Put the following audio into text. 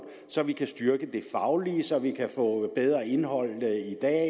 så vi kan styrke det faglige så vi kan få bedre indhold